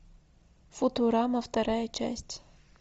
футурама вторая часть